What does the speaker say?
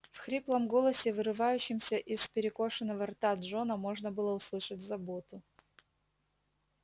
в хриплом голосе вырывавшемся из перекошенного рта джона можно было услышать заботу